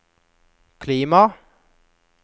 klima